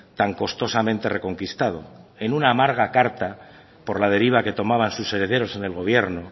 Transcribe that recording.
tan costosamente reconquistado en una amarga carta por la deriva que tomaban sus herederos en el gobierno